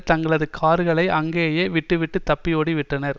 தங்களது கார்களை அங்கேயே விட்டுவிட்டு தப்பி ஓடி வந்து விட்டனர்